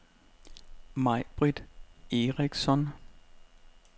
May-Britt Eriksson